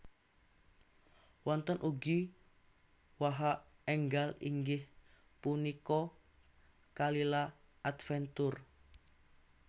Wonten ugi waha enggal inggih punika Kalila Adventure